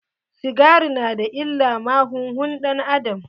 Sigari na da illa ma huhun ɗan-adam.